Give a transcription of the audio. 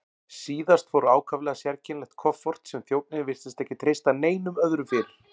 Síðast fór ákaflega sérkennilegt kofort sem þjónninn virtist ekki treysta neinum öðrum fyrir.